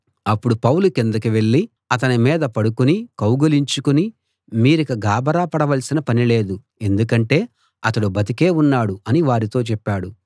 అప్పుడు పౌలు కిందికి వెళ్ళి అతని మీద పడుకుని కౌగలించుకుని మీరిక గాభరా పడవలసిన పని లేదు ఎందుకంటే అతడు బతికే ఉన్నాడు అని వారితో చెప్పాడు